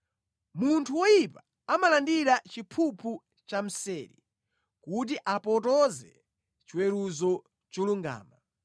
Munthu woyipa amalandira chiphuphu chamseri kuti apotoze chiweruzo cholungama.